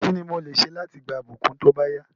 Kíni mo lè se láti gba ìbùkún tóbáyá